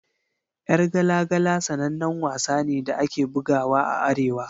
Yar gala gala sanannen wasa ne da ake bugawa a Arewa.